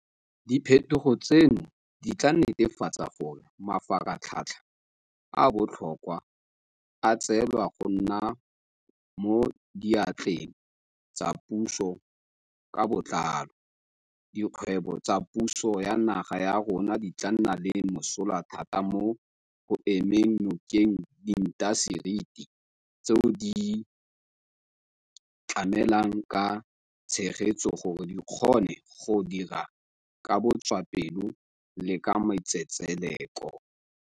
Diphetogo tseno di tla netefatsa gore mafaratlhatlha a a botlhokwa a tswelela go nna mo diatleng tsa puso ka botlalo, dikgwebo tsa puso ya naga ya rona di tla nna le mosola thata mo go emeng nokeng diintaseteri tseo di di tlamelang ka tshegetso gore di kgone go dira ka botswapelo le ka matsetseleko.